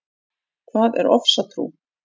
Hvað er ofsatrú?